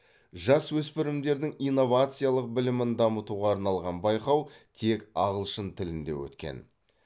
жасөспірімдердің инновациялық білімін дамытуға арналған байқау тек ағылшын тілінде өткен